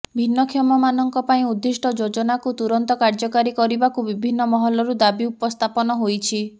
ଭିନ୍ନକ୍ଷମ ମାନଙ୍କ ପାଇଁ ଉର୍ଦ୍ଦିଷ୍ଟ ଯୋଜନାକୁ ତୁରନ୍ତ କାର୍ଯ୍ୟକାରୀ କରିବାକୁ ବିଭିନ୍ନ ମହଲରୁ ଦାବି ଉପସ୍ଥାପନ ହୋଇଛି